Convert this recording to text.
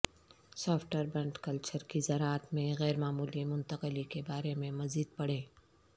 سوفٹربنٹ culture کی زراعت میں غیر معمولی منتقلی کے بارے میں مزید پڑھیں